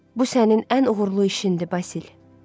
Bu sənin ən uğurlu işindi Basil,